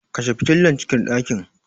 Kashe fitilar cikin ɗakin.